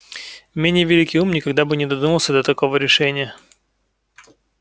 менее великий ум никогда бы не додумался до такого решения